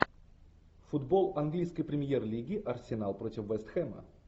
футбол английской премьер лиги арсенал против вест хэма